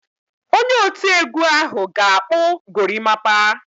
Onye oti egwu ahụ ga-akpụ gorimapa.